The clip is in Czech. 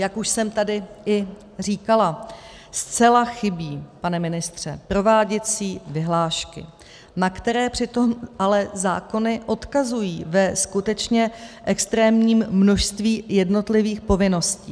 Jak už jsem tady i říkala, zcela chybí, pane ministře, prováděcí vyhlášky, na které přitom ale zákony odkazují ve skutečně extrémním množství jednotlivých povinností.